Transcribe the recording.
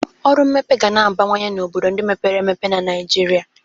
Ọrụ mmepe ga na-abawanye n'obodo ndị mepere emepe na Naịjirịa.